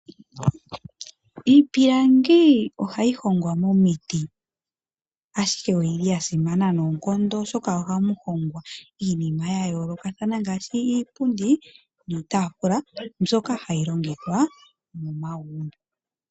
Iipilangi ohayi hongwa momiti, ashike oyi li ya simana noonkondo, oshoka ohamu hongwa iinima ya yoolokathana ngaashi iipundi niitaafula mbyoka hayi longithwa momagumbo.